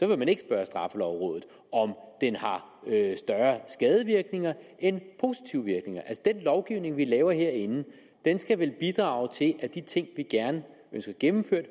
vil man ikke spørge straffelovrådet om den har større skadevirkninger end positive virkninger den lovgivning vi laver herinde skal vel bidrage til at de ting vi ønsker gennemført